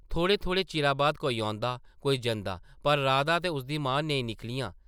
थोह्ड़े-थोह्ड़े चिरा बाद कोई औंदा, कोई जंदा पर राधा ते उसदी मां नेईं निकलियां ।